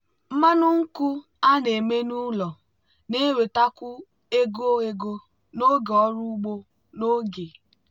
mmanụ nkwụ a na-eme n'ụlọ na-ewetakwu ego ego n'oge ọrụ ugbo n'oge.